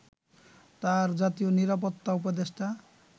তাঁর জাতীয় নিরাপত্তা উপদেষ্টা